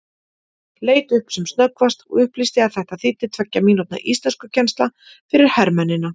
Leit upp sem snöggvast og upplýsti að þetta þýddi tveggja mínútna íslenskukennsla fyrir hermennina.